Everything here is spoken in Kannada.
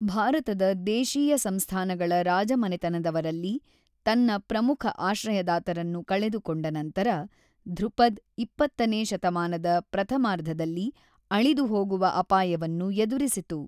ಭಾರತದ ದೇಶೀಯ ಸಂಸ್ಥಾನಗಳ ರಾಜಮನೆತನದವರಲ್ಲಿ ತನ್ನ ಪ್ರಮುಖ ಆಶ್ರಯದಾತರನ್ನು ಕಳೆದುಕೊಂಡ ನಂತರ, ಧ್ರುಪದ್ ಇಪ್ಪತ್ತನೇ ಶತಮಾನದ ಪ್ರಥಮಾರ್ಧದಲ್ಲಿ ಅಳಿದುಹೋಗುವ ಅಪಾಯವನ್ನು ಎದುರಿಸಿತು.